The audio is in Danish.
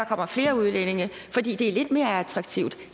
kommer flere udlændinge fordi det er lidt mere attraktivt